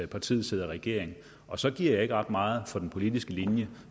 partiet sidder i regering og så giver jeg ikke ret meget for den politiske linje